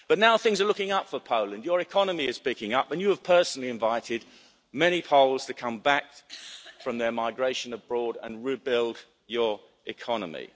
But now things are looking up for Poland. Your economy is picking up and you have personally invited many Poles to come back from their migration abroad and rebuild your economy.